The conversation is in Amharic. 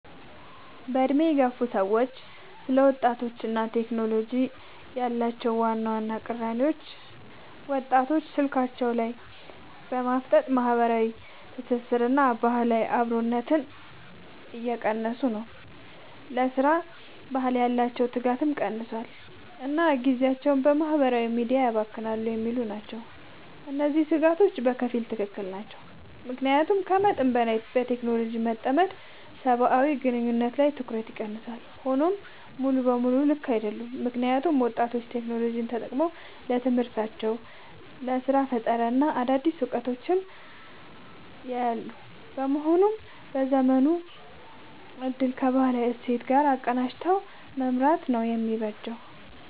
በዕድሜ የገፉ ሰዎች ስለ ወጣቶችና ቴክኖሎጂ ያላቸው ዋና ቅሬታዎች፦ ወጣቶች ስልካቸው ላይ በማፍጠጥ ማህበራዊ ትስስርንና ባህላዊ አብሮነትን እየረሱ ነው: ለሥራ ባህል ያላቸው ትጋት ቀንሷል: እና ጊዜያቸውን በማህበራዊ ሚዲያ ያባክናሉ የሚሉ ናቸው። እነዚህ ስጋቶች በከፊል ትክክል ናቸው። ምክንያቱም ከመጠን በላይ በቴክኖሎጂ መጠመድ ሰብአዊ ግንኙነቶችንና ትኩረትን ይቀንሳል። ሆኖም ሙሉ በሙሉ ልክ አይደሉም: ምክንያቱም ወጣቶች ቴክኖሎጂን ተጠቅመው ለትምህርታቸው: ለስራ ፈጠራና ለአዳዲስ እውቀቶች እያዋሉት በመሆኑ የዘመኑን እድል ከባህላዊ እሴቶች ጋር አቀናጅቶ መምራት ነው የሚበጀው።